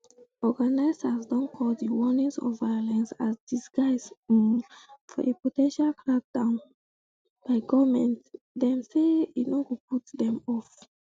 organisers don call di warnings of violence as disguise um for a po ten tial crackdown um by goment dem say e no go put dem off